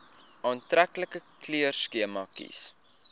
aantreklike kleurskema kies